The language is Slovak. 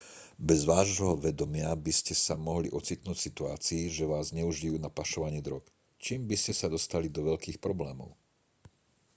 bez vášho vedomia by ste sa mohli ocitnúť v situácii že vás zneužijú na pašovanie drog čím by ste sa dostali do veľkých problémov